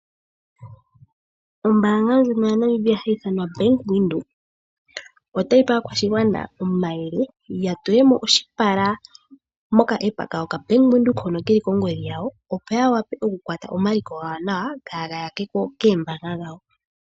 Ombaanga yaNamibia hayi ithanwa Bank Windhoek otayi pe aakwashigwana omayele, opo ya tule mo oshipala momukalo gwoka Aapa kokongodhi kombaanga yaVenduka, opo ya wape okukwata omaliko gawo nawa kaaga yakwe ko koombaanga dhawo.